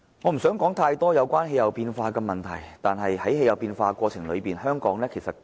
我不想談太多有關氣候變化的問題，但我覺得香港亦是氣候變化的受害者。